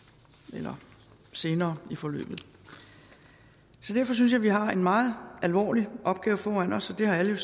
eller senere i forløbet så derfor synes jeg at vi har en meget alvorlig opgave foran os og det har alle